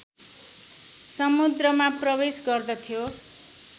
समुद्रमा प्रवेश गर्दथ्यो